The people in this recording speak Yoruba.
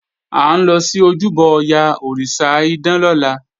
À ń lọ sí ojúbọ Ọya, òrìṣà idán lọ́la